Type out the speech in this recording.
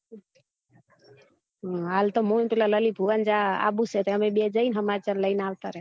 હાલ તો મુ ને પીલા lalit વજા આબુ સે તો અમે બે જઈ ને સમાચાર લઇ ને આવતા રે